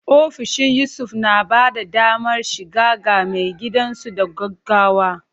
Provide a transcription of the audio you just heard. Ofishin Yusuf na ba da damar shiga ga maigidansu da gaggawa.